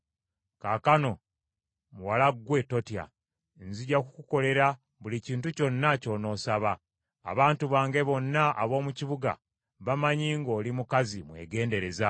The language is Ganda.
Kaakano, muwala ggwe, totya. Nzija kukukolera buli kintu kyonna ky’onoosaba. Abantu bange bonna ab’omu kibuga, bamanyi ng’oli mukazi mwegendereza.